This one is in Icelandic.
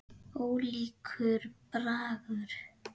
Ólíkur bragur.